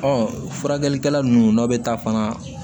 furakɛlikɛla nunnu n'aw be taa fana